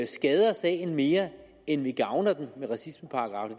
skader sagen mere end vi gavner den med racismeparagraffen